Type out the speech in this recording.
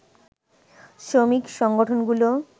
শ্রমিক সংগঠনগুলো